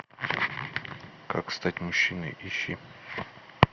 как стать мужчиной ищи